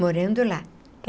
Morando lá.